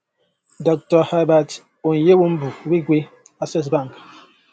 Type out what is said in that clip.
dr herbert onyewumbu wigwe access bank